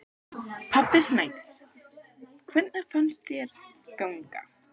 Pabbi Snædísar: Hvernig fannst þér ganga?